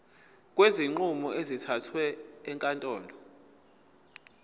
kwezinqumo ezithathwe ezinkantolo